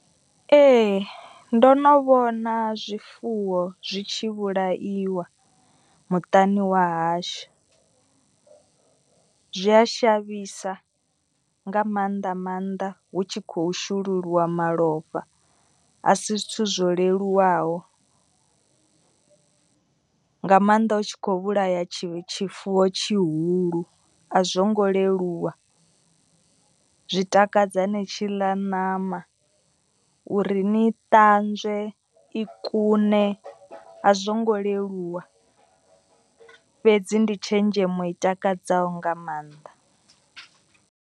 Ee ndo no vhona zwifuwo zwi tshi vhulaiwa muṱani wa hashu. Zwi a shavhisa nga maanḓa maanḓa hu tshi khou shululiwa malofha. A si zwithu zwo leluwaho nga maanḓa u tshi kho vhulaya tshi tshifuwo tshihulu a zwo ngo leluwa. Zwi takadza ni tshi ḽa ṋama uri ni ṱanzwe i kune a zwo ngo leluwa. Fhedzi ndi tshenzhemo i takadzaho nga maanḓa.